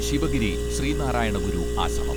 Sivagiri Sreenarayana Guru Ashram